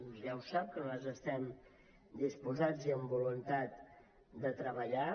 ja ho sap que nosaltres hi estem disposats i amb voluntat de treballar